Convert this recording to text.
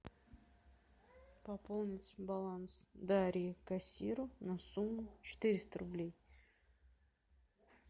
пополнить баланс дарьи кассиру на сумму четыреста рублей